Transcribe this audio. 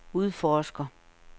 udforsker